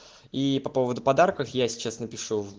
и по поводу подарках я сейчас напишу в